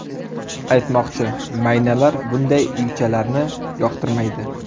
Aytmoqchi, maynalar bunday uychalarni yoqtirmaydi.